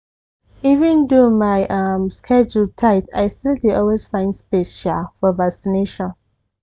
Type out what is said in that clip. even though my um schedule tight i still dey always find space um for vaccination.